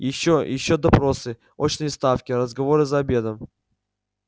ещё ещё допросы очные ставки разговоры за обедом